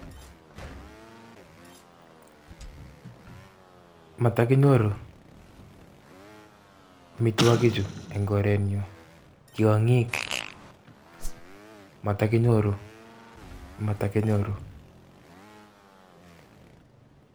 Motokinyoru omitwokichu en korenyun tiong'ik motokinyoru.